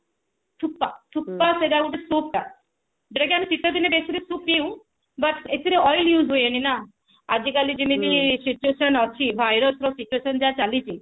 ସୁତ୍ତା ସୁତ୍ତା ସେଟା ଗୋଟେ soup ଟା ଯେକି ଆମେ ଶୀତଦିନେ ବେଶୀରେ soup ପିଉ but ଏଥିରେ oil use ହୁଏନି ନା ଆଜିକାଲି ଯେମତି situation ଅଛି virus ର situation ଯାହା ଚାଲିଛି